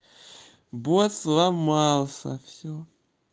бот сломался всё